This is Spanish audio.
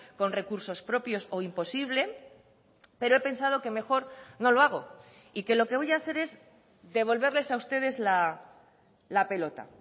con recursos propios o imposible pero he pensado que mejor no lo hago y que lo que voy a hacer es devolverles a ustedes la pelota